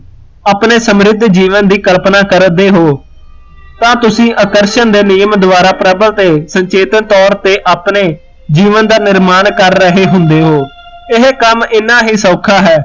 ਆਪਣੇ ਸਮਰਿਧ ਜੀਵਨ ਦੀ ਕਲਪਨਾ ਕਰਦੇ ਹੋ, ਤਾ ਤੁਸੀਂ ਆਕਰਸ਼ਣ ਦੇ ਨਿਯਮ ਦ੍ਵਾਰਾ ਪ੍ਰਭਲ ਤੇ ਸੰਕੇਤਕ ਤੋਰ ਤੇ ਆਪਣੇ ਜੀਵਨ ਦਾ ਨਿਰਮਾਣ ਕਰ ਰਹੇ ਹੁੰਦੇ ਹੋ, ਇਹ ਕੰਮ ਇੰਨਾ ਹੀ ਸੌਖਾ ਹੈ